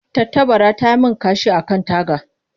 Tattabara ta yi min kashi a kan taga.